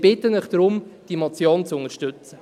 Ich bitte Sie deshalb, diese Motionzu unterstützen.